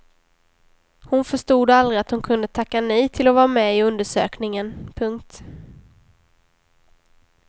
Hon förstod aldrig att hon kunde tacka nej till att vara med i undersökningen. punkt